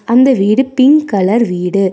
அந்த வீடு pink colour வீடு.